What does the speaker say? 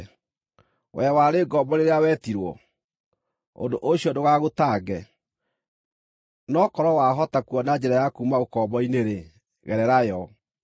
Wee warĩ ngombo rĩrĩa wetirwo? Ũndũ ũcio ndũgagũtange, no korwo wahota kuona njĩra ya kuuma ũkombo-inĩ-rĩ, gerera yo.